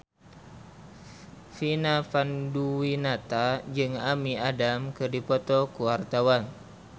Vina Panduwinata jeung Amy Adams keur dipoto ku wartawan